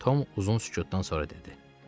Tom uzun sükutdan sonra dedi.